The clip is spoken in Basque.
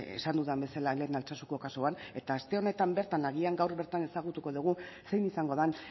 esan dudan bezala lehen altsasuko kasuan eta aste honetan bertan agian gaur bertan ezagutuko dugu zein izango den